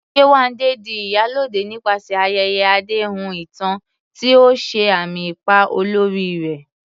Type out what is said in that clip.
Yewande di "Iyalode" nípasẹ̀ ayẹyẹ àdéhùn ìtàn, tí ó ṣe àmì ipa olórí rẹ̀.